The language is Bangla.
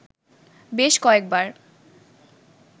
বেশ কয়েকবার